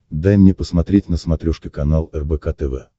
дай мне посмотреть на смотрешке канал рбк тв